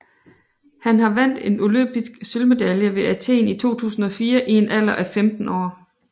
Han har vandt olympisk sølvmedalje ved Athen i 2004 i en alder af 15 år